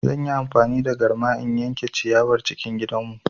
Zan yi amfani da garma in yanke ciyawar cikin gidanmu.